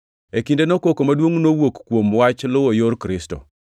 E kindeno koko maduongʼ nowuok kuom wach luwo Yor Kristo.